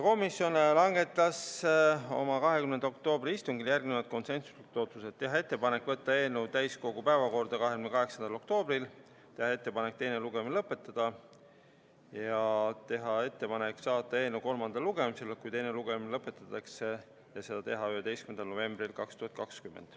Komisjon langetas oma 20. oktoobri istungil järgmised konsensuslikud otsused: teha ettepanek võtta eelnõu täiskogu päevakorda 28. oktoobriks, teha ettepanek teine lugemine lõpetada ja saata eelnõu kolmandale lugemisele, kui teine lugemine lõpetatakse, 11. novembril 2020.